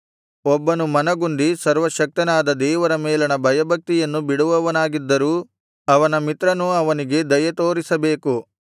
ಒಬ್ಬನು ಮನಗುಂದಿ ಸರ್ವಶಕ್ತನಾದ ದೇವರ ಮೇಲಣ ಭಯಭಕ್ತಿಯನ್ನು ಬಿಡುವವನಾಗಿದ್ದರೂ ಅವನ ಮಿತ್ರನು ಅವನಿಗೆ ದಯೆ ತೋರಿಸಬೇಕು